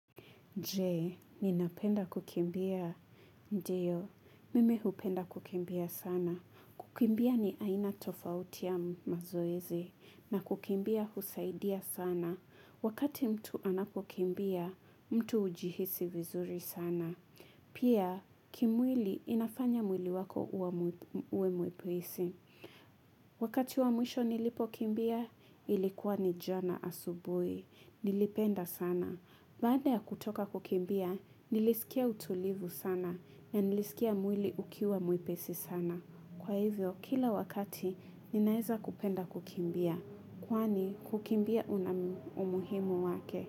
Je, ninapenda kukimbia. Ndiyo, mimi hupenda kukimbia sana. Kukimbia ni aina tofauti ya mazoezi, na kukimbia husaidia sana. Wakati mtu anapokimbia, mtu hujihisi vizuri sana. Pia, kimwili inafanya mwili wako uwe mwepesi. Wakati wa mwisho nilipokimbia, ilikuwa ni jana asubuhi. Nilipenda sana. Baada ya kutoka kukimbia, nilisikia utulivu sana. Na nilisikia mwili ukiwa mwepesi sana. Kwa hivyo, kila wakati, ninaweza kupenda kukimbia. Kwani, kukimbia una umuhimu wake.